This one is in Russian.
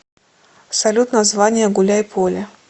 салют название гуляйполе